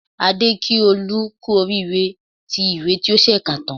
Adé kí Olú kú oríire tí ìwé tí ó ṣẹ̀ṣẹ̀ kà tán